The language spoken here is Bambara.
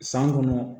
San kɔnɔ